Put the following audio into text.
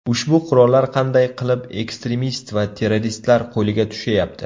Ushbu qurollar qanday qilib ekstremist va terroristlar qo‘liga tushayapti?